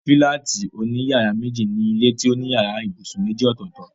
Fílátì òní yàrá méjì ni ilé tó ní yàrá ibùsùn méjì ọ̀tọ̀ọ̀tọ̀